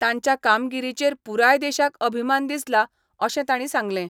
तांच्या कामगिरीचेर पुराय देशाक अभिमान दिसला अशें तांणी सांगलें.